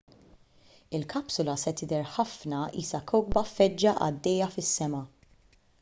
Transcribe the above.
il-kapsula se tidher ħafna qisha kewkba feġġa għaddejja fis-sema